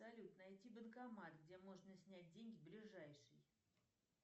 салют найти банкомат где можно снять деньги ближайший